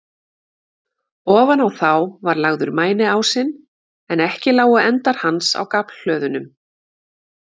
Ofan á þá var lagður mæniásinn, en ekki lágu endar hans á gaflhlöðunum.